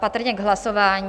Patrně k hlasování?